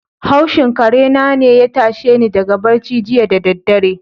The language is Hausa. Haushin karena ne ya tashe ni daga barci jiya da daddare.